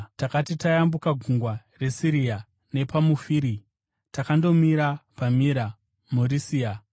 Takati tayambuka gungwa reSirisia nePamufiria, takandomira paMira muRisia.